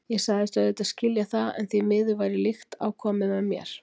Ég sagðist auðvitað skilja það, en því miður væri líkt á komið með mér.